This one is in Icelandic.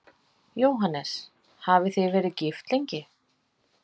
Jóhannes: Hafið þið verið gift lengi?